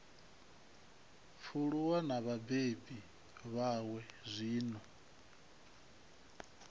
pfuluwa na vhabebi vhawe zwino